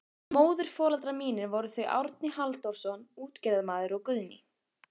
Móðurforeldrar mínir voru þau Árni Halldórsson útgerðarmaður og Guðný